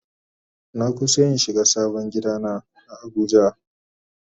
Na kusa in shiga sabon gida na a abuja.